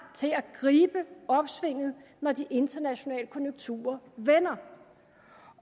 til at gribe opsvinget når de internationale konjunkturer vender